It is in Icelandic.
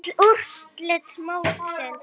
Öll úrslit mótsins